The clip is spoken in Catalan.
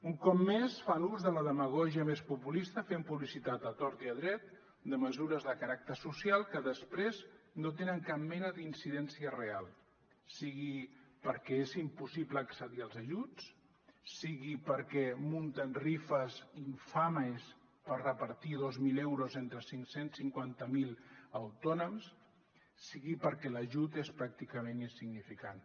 un cop més fan ús de la demagògia més populista fent publicitat a tort i a dret de mesures de caràcter social que després no tenen cap mena d’incidència real sigui perquè és impossible accedir als ajuts sigui perquè munten rifes infames per repartir dos mil euros entre cinc cents i cinquanta miler autònoms sigui perquè l’ajut és pràcticament insignificant